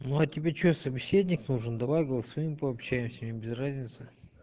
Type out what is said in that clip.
ну а тебе что собеседник нужен давай голосовым пообщаемся и без разницы